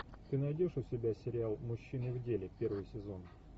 ты найдешь у себя сериал мужчины в деле первый сезон